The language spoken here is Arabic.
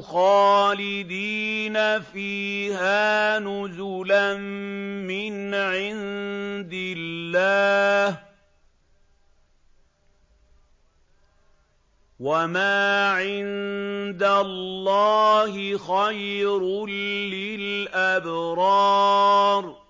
خَالِدِينَ فِيهَا نُزُلًا مِّنْ عِندِ اللَّهِ ۗ وَمَا عِندَ اللَّهِ خَيْرٌ لِّلْأَبْرَارِ